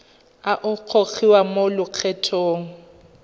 a a gogiwang mo lokgethong